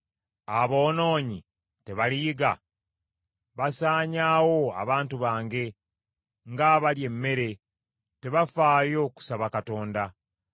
Aboonoonyi tebaliyiga? Basaanyaawo abantu bange, ng’abalya emmere; so tebakoowoola Katonda.